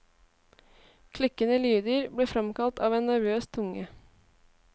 Klikkende lyder ble framkalt av en nervøs tunge.